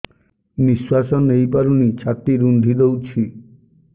ନିଶ୍ୱାସ ନେଇପାରୁନି ଛାତି ରୁନ୍ଧି ଦଉଛି